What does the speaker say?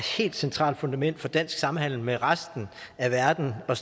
helt centralt fundament for dansk samhandel med resten af verden og